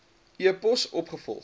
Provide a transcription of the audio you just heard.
e pos opgevolg